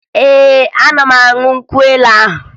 Ee, aga m aṅụ nkwụ elu ahụ